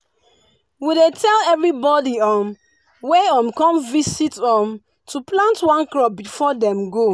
we dey tell everybody um wey um come visit um to plant one crop before dem go.